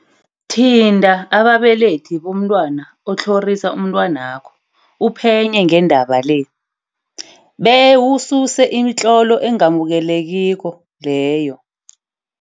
Thinta ababelethi bomntwana otlhorisa umntwanakho uphenye ngendaba le, bewususe imitlolo engamukelekiko leyo.